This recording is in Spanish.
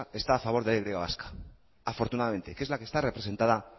está a favor de la y vasca afortunadamente que es la que está representada